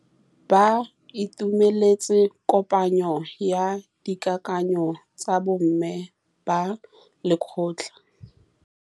Ba itumeletse kôpanyo ya dikakanyô tsa bo mme ba lekgotla.